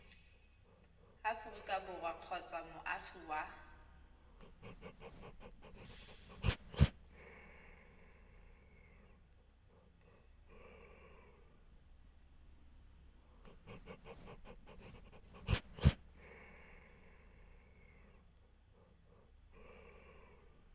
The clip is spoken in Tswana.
aforika borwa kgotsa moagi wa